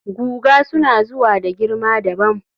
guga suna zuwa da girma dabam